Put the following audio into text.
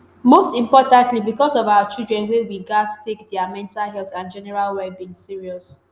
most importantly becos of our children wey we gatz take dia mental health and general well being serious